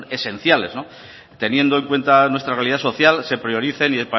que son esenciales teniendo en cuenta nuestra realidad social se prioricen